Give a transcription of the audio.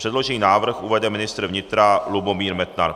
Předložený návrh uvede ministr vnitra Lubomír Metnar.